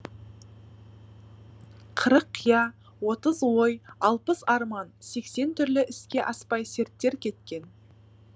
қырық қия отыз ой алпыс арман сексен түрлі іске аспай серттер кеткен